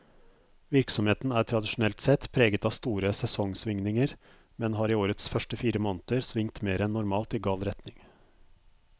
Virksomheten er tradisjonelt sett preget av store sesongsvingninger, men har i årets første fire måneder svingt mer enn normalt i gal retning.